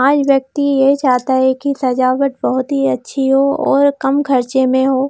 आज व्यक्ति ये चाहता है कि सजावट बहुत-ही अच्छी हो और कम खर्चे में हो।